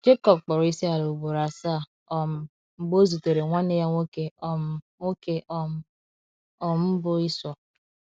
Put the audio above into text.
Jekọb kpọrọ isiala ugboro asaa um mgbe o zutere nwanne ya nwoke um nwoke um, um bụ́ ịsọ.